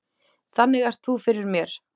Þannig ert þú fyrir mér.